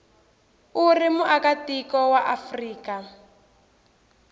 u ri muakatiko wa afrika